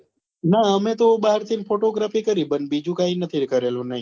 ના અમે તો બહાર થી photogrphy કરી પણ બીજું કાઈ નથી કરેલું નહિ